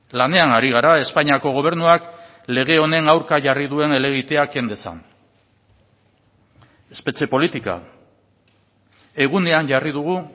lanean ari gara espainiako gobernuak lege honen aurka jarri duen helegitea ken dezan espetxe politika egunean jarri dugu